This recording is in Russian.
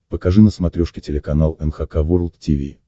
покажи на смотрешке телеканал эн эйч кей волд ти ви